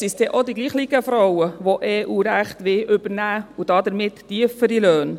Oft sind es denn auch dieselben Frauen, die EU-Recht übernehmen wollen und damit tiefere Löhne.